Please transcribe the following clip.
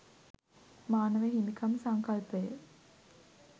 මානව හිමිකම් සංකල්පය